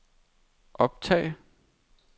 optag